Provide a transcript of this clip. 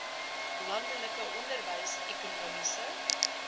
landelike onderwys ekonomiese